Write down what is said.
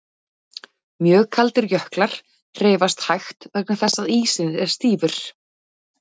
Mjög kaldir jöklar hreyfast hægt vegna þess að ísinn er stífur.